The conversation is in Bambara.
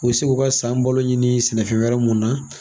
U bi se k'u ka san balo ɲini sɛnɛfɛ wɛrɛ mun na